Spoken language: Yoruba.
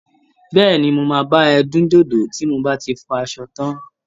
Bẹ́ẹ̀ni. Mo máa bá ẹ dín dòdò bi h mo bá ti fọ aṣọ tán.